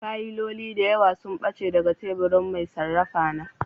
Fayiloli da yawa sun ɓace daga teburin mai sarrafa na